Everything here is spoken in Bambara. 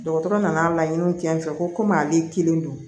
Dɔgɔtɔrɔ nana laɲiniw kɛ n fɛ komi ale kelen don